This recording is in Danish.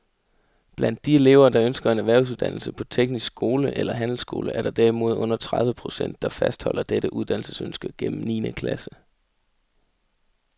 Blandt de elever, der ønsker en erhvervsuddannelse på teknisk skole eller handelsskole, er der derimod under tredive procent, der fastholder dette uddannelsesønske gennem niende klasse.